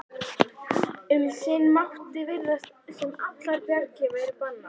Um sinn mátti virðast sem allar bjargir væru bannaðar.